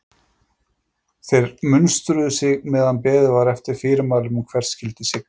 Þeir munstruðu sig meðan beðið var eftir fyrirmælum um hvert skyldi sigla.